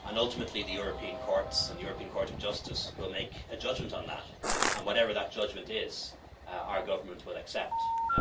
Ultimately, the European courts and the European Court of Justice will make a judgment on that and, whatever that judgment is, our government will accept